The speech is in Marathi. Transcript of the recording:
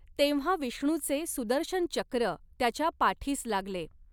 तेंव्हा विष्णूचे सुदर्शन चक्र त्याच्या पाठीस लागले.